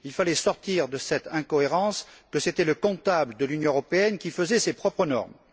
Il fallait sortir de cette incohérence selon laquelle c'était le comptable de l'Union européenne qui faisait ses propres normes.